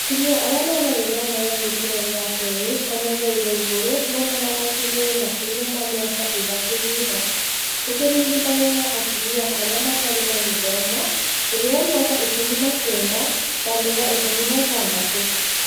Atumia arĩa mena gĩthomo gĩa gĩkĩro gĩa kerĩ kana gĩa iga igũrũ monanaga kĩmwĩrĩ makĩria ma mĩaka ĩtatu thutha, gũkĩringithanio na atumia arĩa matarĩ na gĩthomo, ĩrĩyo mĩaka ikũmi na kenda handũ ha ikũmi na ithathatũ